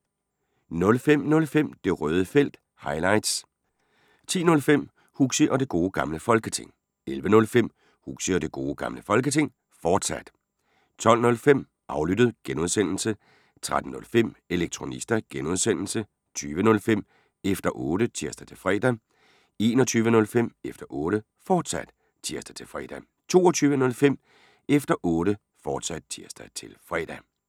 05:05: Det Røde Felt – highlights 10:05: Huxi og Det Gode Gamle Folketing 11:05: Huxi og Det Gode Gamle Folketing, fortsat 12:05: Aflyttet (G) 13:05: Elektronista (G) 20:05: Efter Otte (tir-fre) 21:05: Efter Otte, fortsat (tir-fre) 22:05: Efter Otte, fortsat (tir-fre)